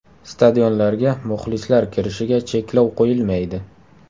Stadionlarga muxlislar kirishiga cheklov qo‘yilmaydi.